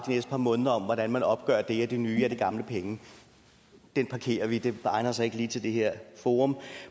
næste par måneder hvordan man opgør det er det nye eller er det gamle penge den parkerer vi det egner sig ikke lige til det her forum